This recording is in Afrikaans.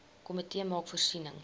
komitee maak voorsiening